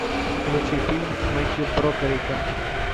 включи фильм с мэттью бродериком